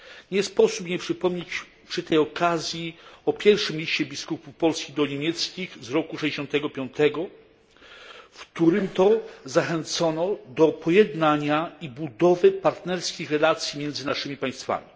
Nie sposób nie przypomnieć przy tej okazji o pierwszym liście biskupów polskich do niemieckich z roku 1965, w którym to zachęcono do pojednania i budowy partnerskich relacji między naszymi państwami.